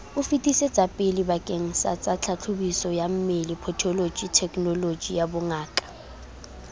o o fetisetsapelebakengsatsatlhahlobisoyammele patholoji thekenolojiyabongaka